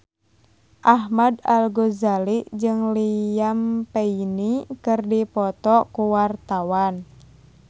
Ahmad Al-Ghazali jeung Liam Payne keur dipoto ku wartawan